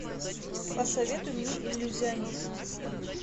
посоветуй мне иллюзионист